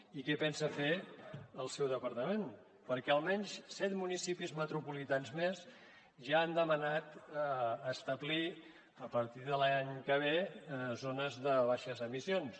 i què pensa fer el seu departament perquè almenys set municipis metropolitans més ja han demanat establir a partir de l’any que ve zones de baixes emissions